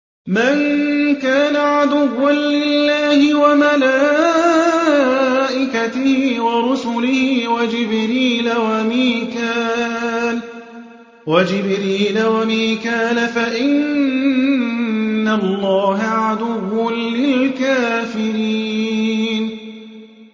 مَن كَانَ عَدُوًّا لِّلَّهِ وَمَلَائِكَتِهِ وَرُسُلِهِ وَجِبْرِيلَ وَمِيكَالَ فَإِنَّ اللَّهَ عَدُوٌّ لِّلْكَافِرِينَ